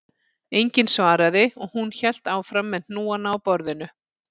Enginn svaraði og hún hélt áfram með hnúana á borðinu